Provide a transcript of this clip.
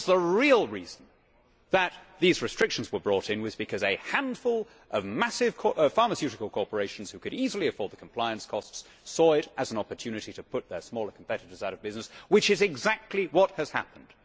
Of course the real reason that these restrictions were brought in was because a handful of massive pharmaceutical corporations which could easily afford the compliance costs saw it as an opportunity to put their smaller competitors out of business, which is exactly what has happened.